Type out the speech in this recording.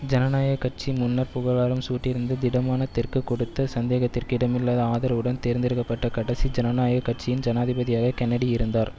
ஜனநாயக கட்சி முன்னர் புகழாரம் சூட்டியிருந்து திடமான தெற்கு கொடுத்த சந்தேகத்திற்கு இடமில்லாத ஆதரவுடன் தேர்ந்தெடுக்க பட்ட கடைசி ஜனநாயக கட்சியின் ஜனாதிபதியாக கென்னடி இருந்தார்